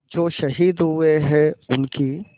जो शहीद हुए हैं उनकी